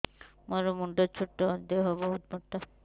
ମୋର ମୁଣ୍ଡ ଛୋଟ ଦେହ ବହୁତ ମୋଟା